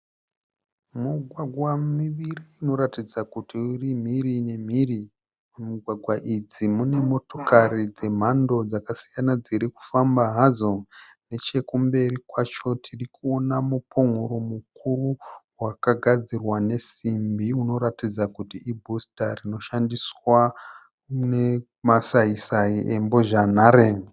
Mugwagwa miviri inoratidza kuti iri mhiri nemhiri. Mugwagwa idzi mune motokari dzemhando dzakasiyana dzirikufamba hadzo. Nechekumberi kwacho tirikuona mupon'oro mukuru wakagadzirwa nesimbi unoratidza kuti ibhusita rinoshandiswa nemasaisai embozhanhare.